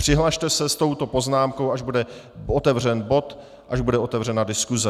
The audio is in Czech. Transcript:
Přihlaste se s touto poznámkou, až bude otevřen bod, až bude otevřena diskuze.